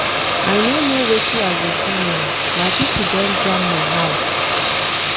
I no know wetin I go do now, my pipo don jam my house.